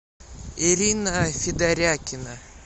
ирина федорякина